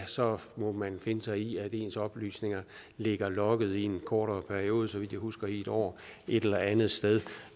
så må finde sig i at ens oplysninger ligger logget i en kortere periode så vidt jeg husker i en år et eller andet sted